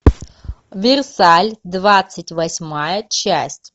версаль двадцать восьмая часть